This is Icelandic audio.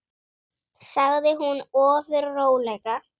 sagði hún ofur rólega.